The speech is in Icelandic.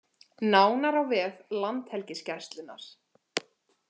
Nánar á vef Landhelgisgæslunnar